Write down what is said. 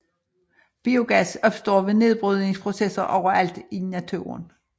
Biogas opstår ved nedbrydningsprocesser overalt i naturen